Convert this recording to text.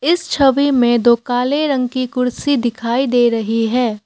इस छवि में दो काले रंग की कुर्सी दिखाई दे रही है।